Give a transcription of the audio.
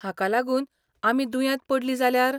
हाका लागून आमी दुयेंत पडलीं जाल्यार?